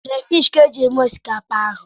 Krafish ka eji mee osikapa ahụ.